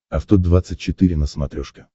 авто двадцать четыре на смотрешке